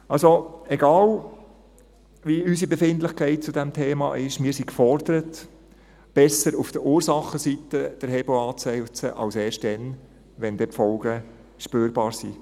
Also, egal wie unsere Befindlichkeit zu diesem Thema ist: Wir sind gefordert, besser auf der Ursachenseite den Hebel anzusetzen, statt erst dann, wenn die Folgen spürbar sind.